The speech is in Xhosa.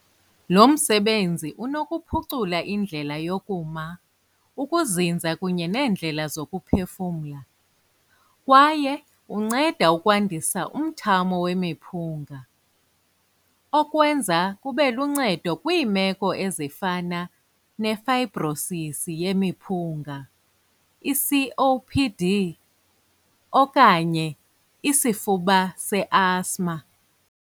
Lo msebenzi unokuphucula indlela yokuma, ukuzinza kunye neendlela zokuphefumla, kwaye unceda ukwandisa umthamo wemiphunga, okwenza kube luncedo kwiimeko ezifana ne-fibrosis yemiphunga, i-COPD okanye isifuba se-asthma.